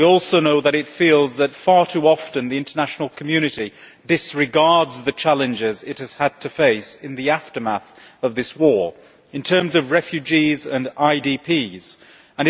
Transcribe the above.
We also know that it feels that, far too often, the international community disregards the challenges it has had to face in the aftermath of this war in terms of refugees and internally displaced persons.